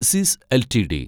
Cs LTD